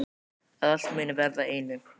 Að allt muni verða að einu.